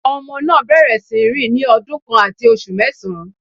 Ọmọ náà bẹ̀rẹ̀ sí ní rìn ní ọdún kan àti oṣù mẹ́sàn